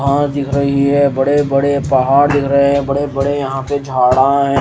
दिख रही है बड़े बड़े पहाड़ दिख रहे हैं बड़े बड़े यहां पे झाड़ा हैं।